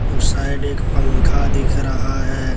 उस साइड एक पंखा दिख रहा है।